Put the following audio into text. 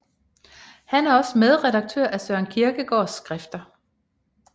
Han er også medredaktør af Søren Kierkegaards Skrifter